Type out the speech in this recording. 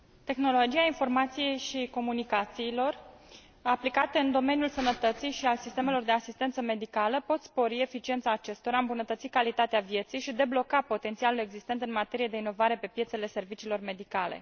Tehnologiile informației și comunicațiilor aplicate în domeniul sănătății și al sistemelor de asistență medicală pot spori eficiența acestora, îmbunătăți calitatea vieții și debloca potențialul existent în materie de inovare pe piețele serviciilor medicale.